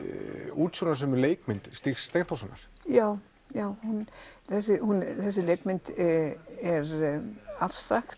útsjónarsömu leikmynd Stígs Steinþórssonar já já þessi þessi leikmynd er abstrakt